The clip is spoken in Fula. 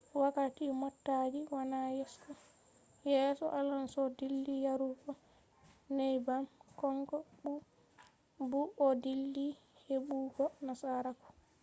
wakkati motaji wani yeso alonso dilli yarugo neybbam, kanko bu o dilli hebugo nasaraku